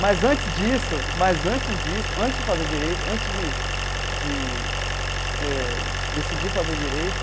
Mas antes disso, mas antes disso, antes de fazer Direito, antes de de eh decidir fazer Direito,